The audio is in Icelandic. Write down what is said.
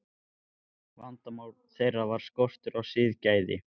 Vandamál þeirra var skortur á siðgæði.